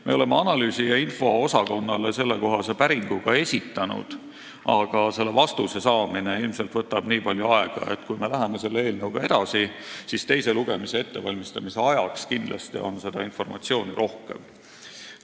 Me oleme õigus- ja analüüsiosakonnale ka sellekohase päringu esitanud, aga vastuse saamine võtab ilmselt nii palju aega, et kui me läheme selle eelnõuga edasi, siis teise lugemise ettevalmistamise ajaks on kindlasti informatsiooni rohkem.